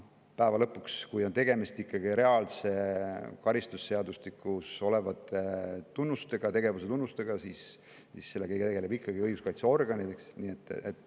Päeva lõpuks, kui on tegemist ikkagi reaalsete, karistusseadustikus olevate tegevuse tunnustega, siis sellega tegeleb ikkagi õiguskaitseorgan.